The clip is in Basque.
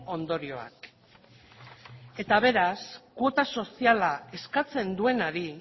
ondorioak eta beraz kuota soziala eskatzen duenari